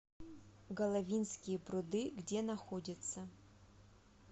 головинские пруды где находится